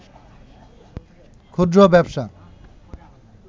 ক্ষুদ্র ব্যবসা